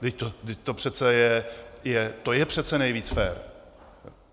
Vždyť to přece je, to je přece nejvíc fér.